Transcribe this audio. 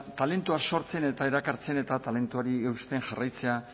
talentua sortzen eta erakartzen eta talentuari eusten jarraitzea